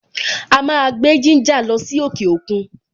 A máa gbé gínjà lọ sí òkè òkun.